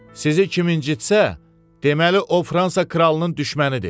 Sizi kim incitsə, deməli o Fransa kralının düşmənidir.